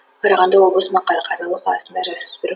қарағанды облысының қарқаралы қаласында жасөспірім